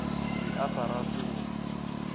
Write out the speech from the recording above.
be a sa rate go